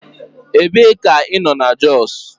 Ebee ka ị nọ na Jos?